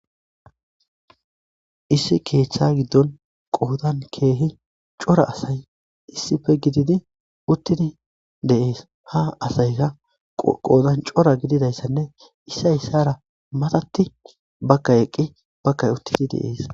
Issi keeththa giddon qoodan keehi cora asay issippe gididi uttidi deees, ha asayka qoodan cora gididayssanne issay ssara matatti bakka eqqi bakkay uttidi deees.